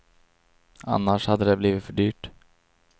Annars hade det blivit för dyrt.